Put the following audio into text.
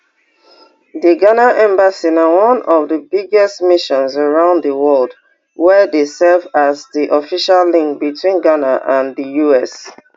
di ghana embassy na one of di biggest missions around di world wey dey serve as di official link between ghana and di us